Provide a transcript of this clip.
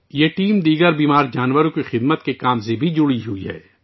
یہ ٹیم دوسرے بیمار جانوروں کی خدمت کے کام میں بھی شامل ہے